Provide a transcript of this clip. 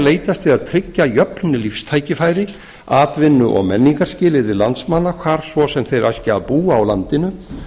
leitast við að tryggja jöfn lífstækifæri atvinnu og menningarskilyrði landsmanna hvar svo sem þeir æski að búa á landinu